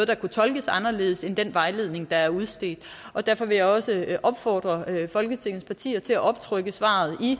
det kunne tolkes anderledes end i den vejledning der er udstedt og derfor vil jeg også opfordre folketingets partier til at optrykke svaret i